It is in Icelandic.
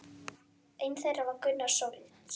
Einn þeirra var Gunnar Sólnes.